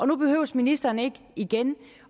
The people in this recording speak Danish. nu behøver ministeren ikke igen